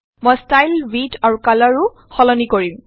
মই style width আৰু কালাৰও সলনি কৰিম